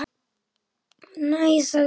Nei- sagði